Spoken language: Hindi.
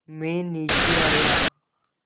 मैं नीचे आया